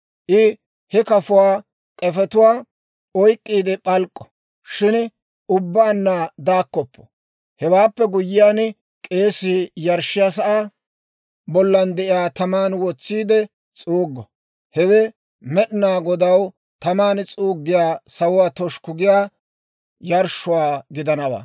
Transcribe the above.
I he kafuwaa k'efetuwaa oyk'k'iide p'alk'k'o, shin ubbaanna daakkoppo. Hewaappe guyyiyaan, k'eesii yarshshiyaa sa'aa bollan de'iyaa taman wotsiide s'uuggo; hewe Med'inaa Godaw taman s'uuggiyaa, sawuwaa toshukku giyaa yarshshuwaa gidanawaa.